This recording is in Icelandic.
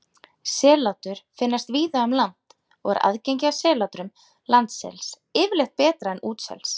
Sellátur finnast víða um land og er aðgengi að sellátrum landsels yfirleitt betra en útsels.